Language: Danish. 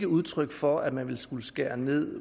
udtryk for at man ville skulle skære ned